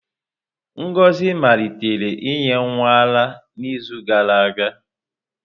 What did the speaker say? Ngozi malitere inye nwa ara n'izu gara aga.